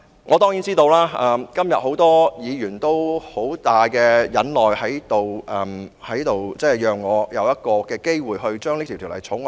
我當然知道今天很多議員都十分忍耐，讓我有機會二讀《條例草案》。